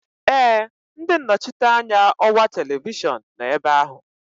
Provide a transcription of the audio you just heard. Ee, ndị nnọchiteanya ọwa televishọn nọ ebe ahụ